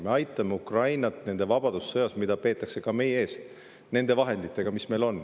Me aitame Ukrainat nende vabadussõjas, mida peetakse ka meie eest, aitame nende vahenditega, mis meil on.